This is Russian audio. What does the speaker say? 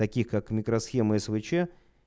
таких как микросхемы свч